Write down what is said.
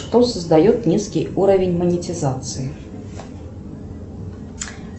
что создает низкий уровень монетизации